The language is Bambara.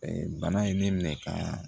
bana ye ne minɛ ka